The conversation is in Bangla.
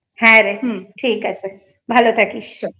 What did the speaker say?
হ্যা রে ঠিক আছে ভালো থাকিস